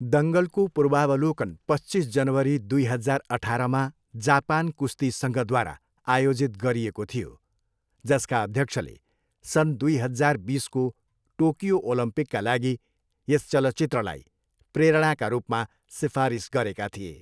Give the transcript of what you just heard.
दङ्गलको पूर्वावलोकन पच्चिस जनवरी दुई हजार अठारमा जापान कुस्ती सङ्घद्वारा आयोजित गरिएको थियो, जसका अध्यक्षले सन् दुई हजार बिसको टोकियो ओलम्पिकका लागि यस चलचित्रलाई प्रेरणाका रूपमा सिफारिस गरेका थिए।